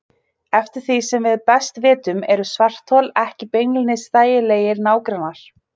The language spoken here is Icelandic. Eftir því sem við best vitum eru svarthol ekki beinlínis þægilegir nágrannar.